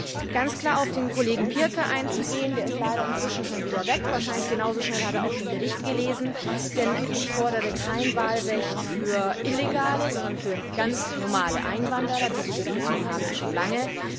Ich möchte ganz klar auf den Kollegen Pirker eingehen der ist leider inzwischen schon wieder weg, wahrscheinlich hat er genauso schnell auch den Bericht gelesen denn ich fordere kein Wahlrecht für illegale, sondern für ganz normale Einwanderer. Diese Diskussion haben wir schon lange.